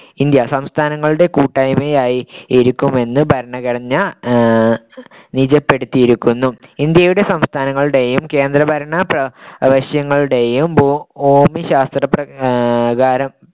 India സംസ്ഥാനങ്ങളുടെ കൂട്ടായ്മയായിരിക്കുമെന്ന് ഭരണഘടന ആഹ് നിജപ്പെടുത്തിയിരിക്കുന്നു ഇന്ത്യയുടെ സംസ്ഥാനങ്ങളുടെയും കേന്ദ്രഭരണ പ്രവശ്യങ്ങളുടെയും ഭൂമിശാസ്ത്രപരം